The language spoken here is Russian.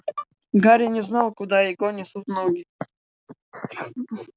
гарри не знал куда его несут ноги